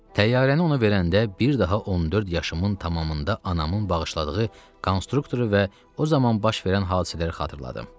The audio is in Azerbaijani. Təyyarəni ona verəndə bir daha 14 yaşımın tamamında anamın bağışladığı konstruktoru və o zaman baş verən hadisələri xatırladım.